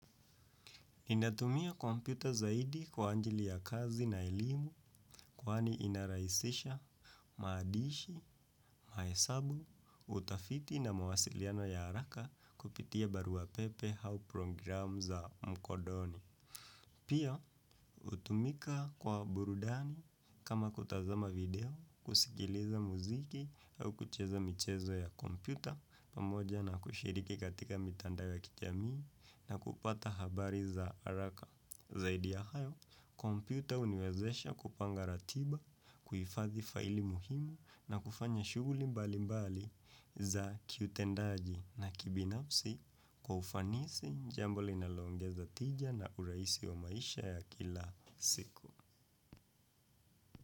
Ninatumia kompyuta zaidi kwa ajili ya kazi na elimu kwani inarahisisha, maadishi, mahesabu, utafiti na mawasiliano ya haraka kupitia barua pepe hau program za mkodoni. Pia, hutumika kwa burudani kama kutazama video, kusikiliza muziki au kucheza michezo ya kompyuta pamoja na kushiriki katika mitandao ya kijamii na kupata habari za haraka. Zaidi ya hayo kompyuta huniwezesha kupanga ratiba kuhifadhi file muhimu na kufanya shughuli mbalimbali za kiutendaji na kibinafsi kwa ufanisi jambo linaloongeza tija na urahisi wa maisha ya kila siku.